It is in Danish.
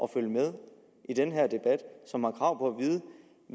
følger med i den her debat og som har krav på